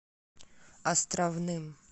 островным